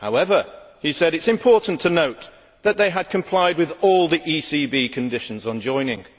However, he said it is important to note that it had complied with all the ECB conditions on joining.